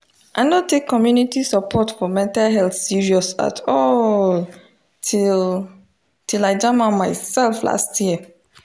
i no take community support for mental health serious at all till till i jam am myself last year